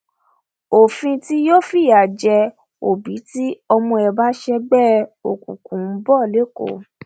òfin tí yóò fìyà jẹ òbí tí ọmọ ẹ bá ń ṣègbè òkùnkùn ń bọ lẹkọọ